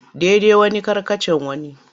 Daidan wani karkatccean wani.